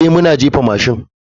Ee, muna jefa mashin.